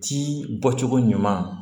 Ci bɔ cogo ɲuman